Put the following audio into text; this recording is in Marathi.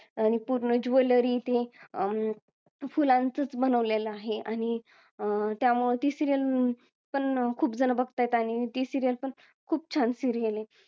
आणि पूर्ण jewellery अं फुलांचच बनवलेला आहे आणि अं त्यामुळे ती serial पण खूप जण बघतायेत आणि ती serial पण खूप छान serial आहे